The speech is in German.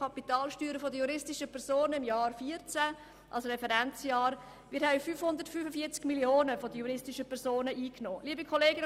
Davon betrugen im Jahr 2014 die Gewinn- und Kapitalsteuern der juristischen Personen 545 Mio. Franken.